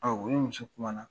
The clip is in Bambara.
Ɔ u ni muso kumana